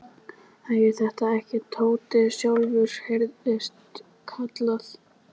Hæ, er þetta ekki Tóti sjálfur? heyrðist kallað.